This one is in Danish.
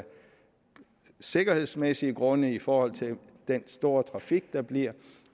sikkerhedsmæssige grunde i forhold til den store trafik der bliver